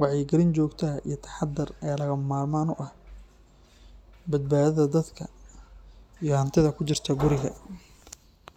Wacyigelin joogto ah iyo taxaddar ayaa lagama maarmaan u ah badbaadada dadka iyo hantida ku jirta guriga.